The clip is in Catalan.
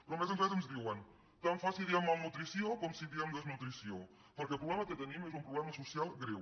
però a més ens diuen tant fa si diem malnutrició com si diem desnutrició perquè el problema que tenim és un pro·blema social greu